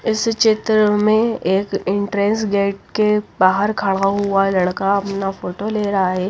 इस चित्र में एक एंट्रेंस गेट के बाहर खड़ा हुआ लड़का अपना फोटो ले रहा है।